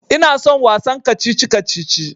Ina son wasan kacici-kacici.